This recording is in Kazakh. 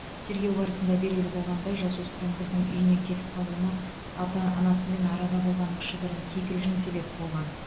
тергеу барысында белгілі болғандай жасөспірім қыздың үйінен кетіп қалуына ата анасымен арада болған кішігірім кикілжің себеп болған